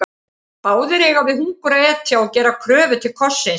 Báðir eiga við hungur að etja og gera kröfu til kossins.